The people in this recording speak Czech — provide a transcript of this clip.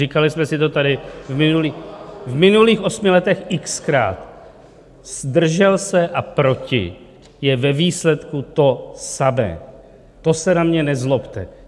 Říkali jsme si to tady v minulých osmi letech x-krát: "zdržel se" a "proti" je ve výsledku samé, to se na mě nezlobte.